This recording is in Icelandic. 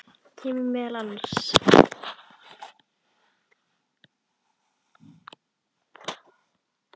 kemur meðal annars fram